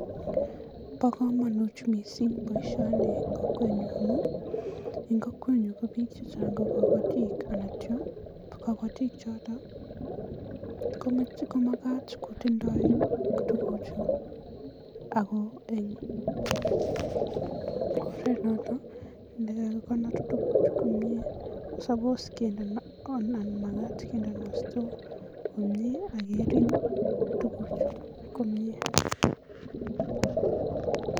Bo kamanut mising boisioni eng kokwenyun amun eng kokwenyun ko biik chechang ko kabatik akityo kabatik choto komakat kotindoi tuguchu ako eng oret noto ne kakikonor tuguchu komnye suppose kendeno on anan makat kendeno store[c] komnye akeriip tuguchu komnye.